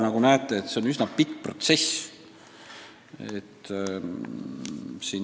Nagu näete, see on üsna pikk protsess.